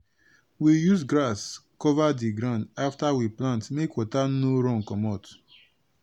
we use grass cover di ground afta we plant make water no run comot.